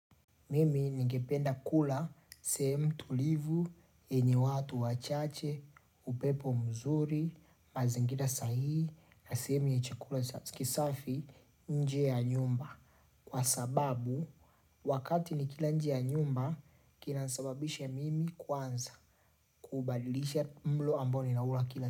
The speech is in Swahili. Mimi ningependa kula sehemu tulivu, yenye watu wachache, upepo mzuri, mazingira sahihi, na sehemu ya chakula kisafi nje ya nyumba. Kwa sababu, wakati ni kila nje ya nyumba, kinasababisha mimi kwanza kubadilisha mlo ambao ni naula kila.